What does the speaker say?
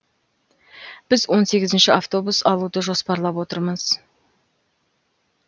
біз он сегізінші автобус алуды жоспарлап отырмыз